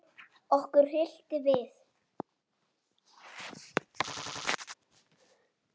Okkur hryllti við.